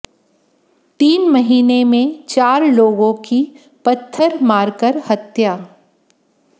तीन महीने में चार लोगों की पत्थर मारकर हत्या